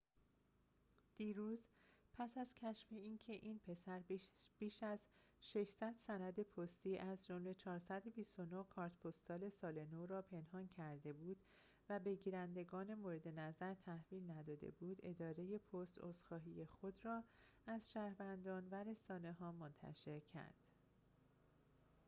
دیروز پس از کشف اینکه این پسر بیش از ۶۰۰ سند پستی از جمله ۴۲۹ کارت پستال سال نو را پنهان کرده بود و به گیرندگان مورد نظر تحویل نداده بود اداره پست عذرخواهی خود را از شهروندان و رسانه ها منتشر کرد